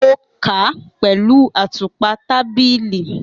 Mo ka pẹlu atupa tabili.